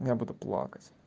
я буду плакать